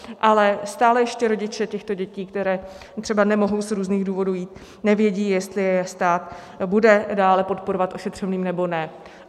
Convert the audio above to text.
Ale stále ještě rodiče těchto dětí, které třeba nemohou z různých důvodů jít, nevědí, jestli je stát bude dále podporovat ošetřovným, nebo ne.